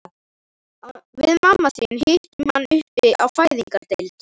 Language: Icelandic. Við mamma þín hittum hann uppi á fæðingardeild.